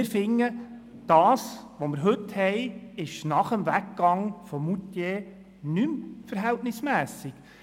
Wir finden, der heutige Zustand sei nach dem Weggang von Moutier nicht mehr verhältnismässig.